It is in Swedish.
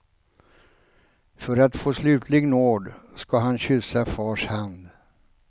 För att få slutlig nåd ska han kyssa fars hand.